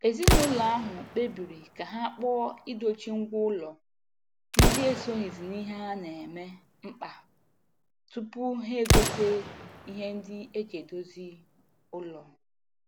Ezinụlọ ahụ kpebiri ka ha kpọọ idochi ngwa ụlọ ndị esoghizi n'ihe a na-eme mkpa tupu ha egote ihe ndị eji edozi ụlọ.